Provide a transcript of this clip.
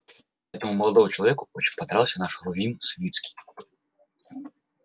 этому молодому человеку очень понравился наш рувим свицкий